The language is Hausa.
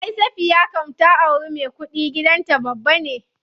Ay Safiya kam ta auri me kuɗi, gidan ta babba ne.